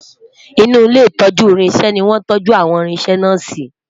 inú ilé itọju irinṣẹ ní wọn tọju àwọn irinṣẹ na si